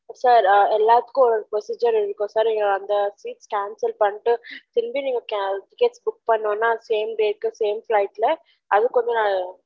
sir எல்லதுகும் ஒரு procedure இருகு sir நீங்க அத cancel பன்னிடு திருபியும் tickets book பன்னொம்ன same date same flight ல அதுகு கொஞ்சம் நெரம் ஆகும்